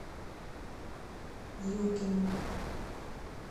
юркину